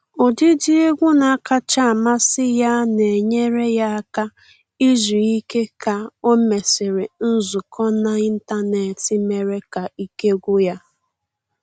Ụdịdị egwu na-akacha amasị ya na enyere ya aka izu ike ka o mesịrị nzukọ n’ịntanetị mere ka ike gwụ ya